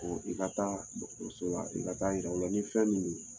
I ka taa dɔgɔtɔrɔso la i ka taa yira u la ni fɛn min don.